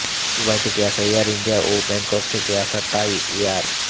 Dubai থেকে আসা air India ও ব্যাঙ্কক থেকে আসা তাই এয়ার